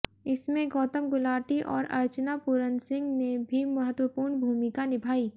इसमें गौतम गुलाटी और अर्चना पूरन सिंह ने भी महत्वपूर्ण भूमिका निभाई